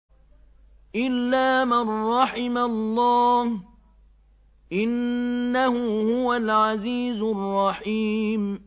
إِلَّا مَن رَّحِمَ اللَّهُ ۚ إِنَّهُ هُوَ الْعَزِيزُ الرَّحِيمُ